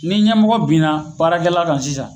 Ni ɲɛmɔgɔ binna baarakɛla kan sisan.